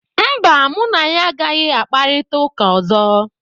mba, mụ na ya agaghị akparịta ụka ọzọ